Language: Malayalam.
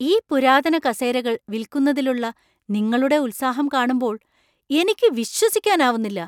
ഈ പുരാതന കസേരകൾ വിൽക്കുന്നതിലുള്ള നിങ്ങളുടെ ഉത്സാഹം കാണുമ്പോൾ എനിക്ക് വിശ്വസിക്കാനാവുന്നില്ല.